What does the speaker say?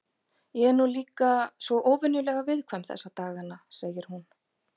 Ég er nú líka svo óvenjulega viðkvæm þessa dagana, segir hún.